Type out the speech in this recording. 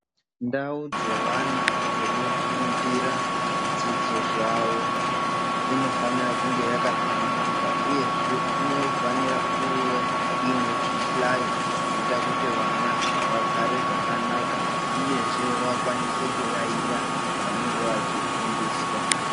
Ndau dzewana dzekufundira zvidzidzo zvawo, inofanira kunge yakahlamburuka, uyezve inofanira kuve inezvihlayo zvinoyita kuti vana vagare zvakanaka, uyezve vakwanise kuyayiya zvavanenge vachifundiswa.